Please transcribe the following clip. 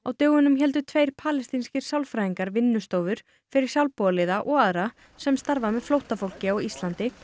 dögunum héldu tveir palestínskir sálfræðingar vinnustofur fyrir sjálfboðaliða og aðra sem starfa með flóttafólki á Íslandi